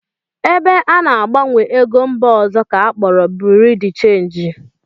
Ebe ana-agbanwe ego mba ọzọ ka akpọrọ Birui de chenji